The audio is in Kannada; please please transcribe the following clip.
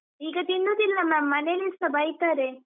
ಈಗ ತಿನ್ನುದಿಲ್ಲ ma’am ಮನೇಲಿಸ ಬೈತಾರೆ.